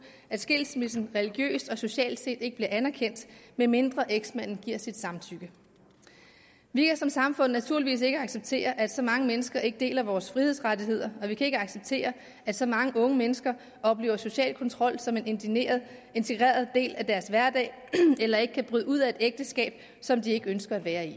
skilsmissen religiøst og socialt set ikke bliver anerkendt medmindre eksmanden giver sit samtykke vi kan som samfund naturligvis ikke acceptere at så mange mennesker ikke deler vores frihedsrettigheder og vi kan ikke acceptere at så mange unge mennesker oplever social kontrol som en integreret del af deres hverdag eller ikke kan bryde ud af et ægteskab som de ikke ønsker at være i